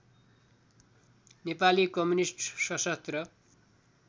Nepali communist सशस्त्र